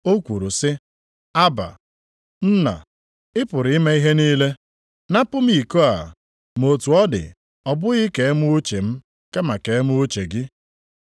O kwuru sị, \+wj “Abba,\+wj* + 14:36 Nke a pụtara nna nʼasụsụ Aramaik. Nna, ị pụrụ ime ihe niile. Napụ m iko a, ma otu ọ dị, ọ bụghị ka e mee uche m, kama ka e mee uche gị.”